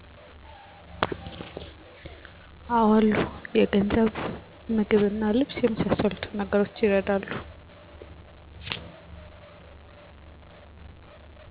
አሉ። የገንዘብ; ምግብና ልብስ የመሣሠሉትን ነገሮች ይረዳሉ።